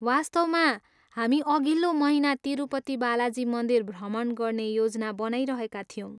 वास्तवमा, हामी अघिल्लो महिना तिरुपति बालाजी मन्दिर भ्रमण गर्ने योजना बनाइरहेका थियौँ।